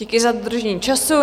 Díky za dodržení času.